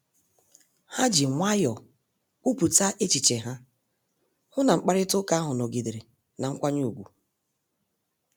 Ha ji nwayọọ kwupụta echiche ha, hụ na mkparịta ụka ahụ nọgidere na mkwanye ùgwù